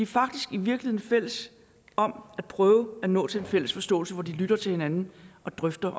faktisk i virkeligheden fælles om at prøve at nå til en fælles forståelse hvor de lytter til hinanden og drøfter